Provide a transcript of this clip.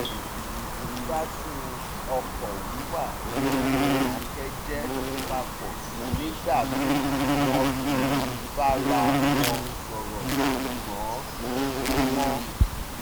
wọ́n ń gbádùn ọkọ̀ wíwà ní ìdákẹ́jẹ́ papọ̀ nígbà míì wọn kì í bára wọn sọ̀rọ̀ ṣùgbọ́n súnmọ́